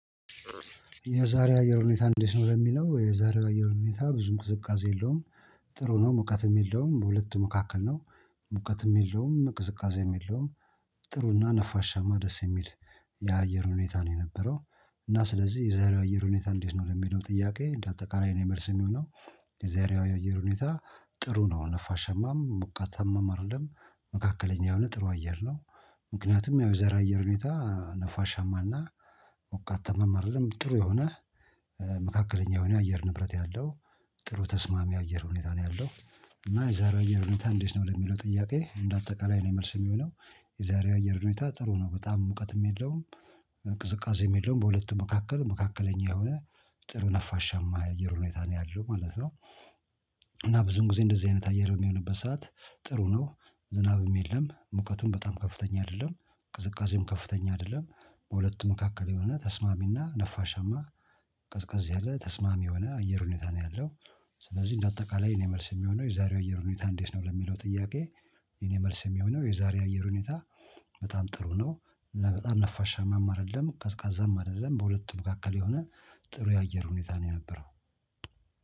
የዛሬ አየር ሁኔታ እንዴት ነው? ለሚለው የዛሬው አየር ሁኔታ ብዙም ቅዝቃዜ የለውም። ጥሩ ነው ሙቀትም የለውም በሁለቱ መካከል ነው። ሙቀትም የለውም ቅዝቃዜም የለውም። ጥሩና ነፋሻማ ደስ የሚል የአየር ሁኔታ ነው የነበረው። እና ስለዚህ የዛሬው አየር ሁኔታ እንዴት ነው ለሚለው ጥያቄ እንደ አጠቃላይ የኔ የመልስ የሚሆነው። የአየር ሁኔታ ጥሩ ነው ነፋሻማም ሞቃታም አይደለም መካከለኛ የሆነ ጥሩ አየር ነው። ምክንያቱም የዛሬው የአየር ሁኔታ ነፋሻማና ሞቃታማም አይደለም ጥሩ የሆነ መካከለኛ የሆነ አየር ንብረት ያለው ጥሩ ተስማሚ አየር ሁኔታ ነው ያለው። እና የዛሬ አየር ሁኔታ እንዴት ነው ለሚለው ጥያቄ እንደ አጠቃላይ የኔ መልስ የሚሆነው። የዛሬው አየር ሁኔታ ጥሩ ነው በጣም ሙቀት የሚለውም ቅዝቃዜ የለውም በሁለቱም መካከል መካከለኛ የሆነ ጥሩ ነፋሻማ የአየር ሁኔታ ነው ያለው ማለት ነው። እና ብዙን ጊዜ እንደዚህ አይነት አየር የሚሆንበት ሰዓት ጥሩ ነው። ዝናብም የለም ሙቀቱም በጣም ከፍተኛ አይደለም። ቅዝቃዜም ከፍተኛ አይደለም። በሁለቱ መካከል የሆነ ተስማሚና ነፋሻማ ቀዝቃዝ ያለ ተስማሚ የሆነ አየር ሁኔታ ነው ያለው። ስለዚህ እንደ አጠቃላይ እኔ መልስ የሚሆነው የዛሬው አየር ሁኔታ እንዴት ነው ለሚለው ጥያቄ? የኔ መልስ የሚሆነው የዛሬው የአየር ሁኔታ። በጣም ጥሩ ነው እና በጣም ነፋሻማም አይደለም ቀዝቃዛም አይደለም በሁለቱም መካከል የሆነ ጥሩ የአየር ሁኔታ ነው የነበረው።